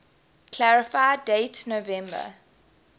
clarify date november